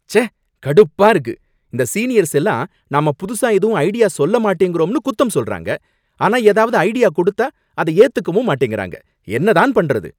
ச்சே! கடுப்பா இருக்கு! இந்த சீனியர்ஸ் எல்லாம் நாம புதுசா எதுவும் ஐடியா சொல்ல மாட்டேங்கறோம்னு குத்தம் சொல்றாங்க, ஆனா ஏதாவது ஐடியா கொடுத்தா அத ஏத்துக்கவும் மாட்டேங்குறாங்க, என்ன தான் பண்றது?